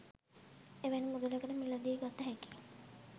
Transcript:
එවැනි මුදලකට මිලදී ගත හැකි